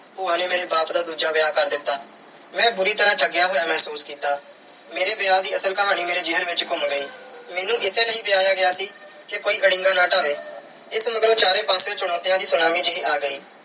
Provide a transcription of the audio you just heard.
ਨੇ ਮੇਰੇ ਬਾਪ ਦਾ ਦੂਜਾ ਵਿਆਹ ਕਰ ਦਿੱਤਾ। ਮੈਂ ਬੁਰੀ ਤਰ੍ਹਾਂ ਠੱਗਿਆ ਹੋਇਆ ਮਹਿਸੂਸ ਕੀਤਾ। ਮੇਰੇ ਵਿਆਹ ਦੀ ਅਸਲ ਕਹਾਣੀ ਮੇਰੇ ਜ਼ਹਿਨ ਵਿੱਚ ਘੁੰਮ ਗਈ। ਮੈਨੂੰ ਇਸੇ ਲਈ ਵਿਆਹਿਆ ਗਿਆ ਸੀ ਕਿ ਕੋਈ ਅੜਿੰਗਾ ਨਾ ਡਾਹਵੇ। ਇਸ ਮਗਰੋਂ ਚਾਰੋਂ ਪਾਸਿਉਂ ਚੁਣੌਤੀਆਂ ਦੀ ਸੁਨਾਮੀ ਜਿਹੀ ਆ ਗਈ।